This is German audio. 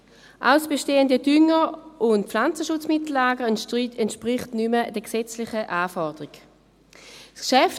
Auch das bestehende Dünger- und Pflanzenschutzmittellager entspricht den gesetzlichen Anforderungen nicht mehr.